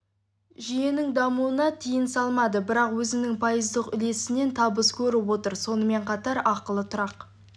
жүйенің дамуына тиын салмады бірақ өзінің пайыздық үлесінен табыс көріп отыр сонымен қатар ақылы тұрақ